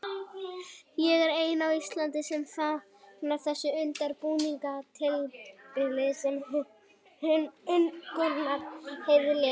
Ég er eini á Íslandi sem fagna þessu undirbúningstímabili, segir Gunnar Heiðar léttur.